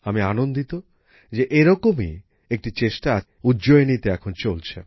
আমি আনন্দিত যে এরকমই একটি চেষ্টা উজ্জয়িনীতে এখন চলছে